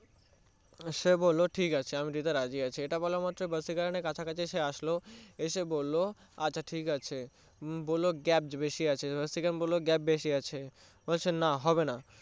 সে বললো ঠিকাছে আমি রাজী আছি এটা বলা মাত্রই ভাসীকারানের কাছাকাছি আসলো এসে বললো আচ্ছা ঠিকাছে বললো gap বেশি আছে ভাসীকারান বললো gap বেশি আছে বলছে না হবেনা